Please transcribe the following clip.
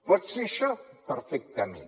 pot ser això perfectament